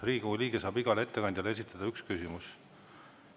Riigikogu liige saab igale ettekandjale esitada ühe küsimuse.